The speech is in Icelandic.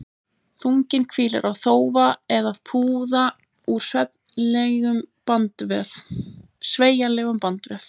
Þunginn hvílir á þófa eða púða úr sveigjanlegum bandvef.